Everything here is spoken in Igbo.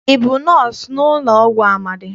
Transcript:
Ị bụ nọọsụ n'ụlọọgwụ Amadị?